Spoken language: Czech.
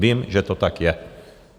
Vím, že to tak je!